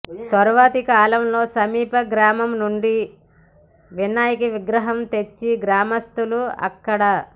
తర్వాతి కాలంలో సమీప గ్రామం నుండి వినాయక విగ్రహం తెచ్చి గ్రామస్తులు అక్కడ